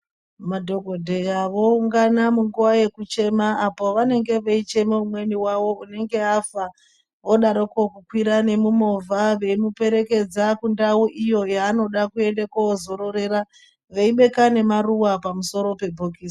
Madhokodheya voungana musiwo mekuchema apo pavanenge veichema umweni wavo unenge wafa wodaroko umweni wavo kukwira mumovha veimuperekrdza mundau iyo yanoda kuenda kozorerera veibeka nemaruwa pamusoro pebhokisi.